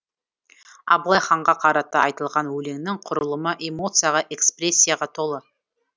абылай ханға қарата айтылған өлеңнің құрылымы эмоцияға экспрессияға толы